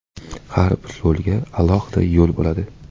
Har bir rolga alohida yo‘l bo‘ladi.